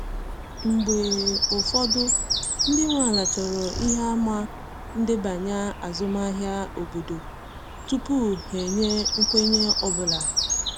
Mgbe ụfọdụ, ndị nwe ala chọrọ ihe àmà ndebanye azụmahịa obodo tupu ha enye nkwenye ọ bụla.